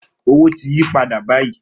Owo ti yi pada bayi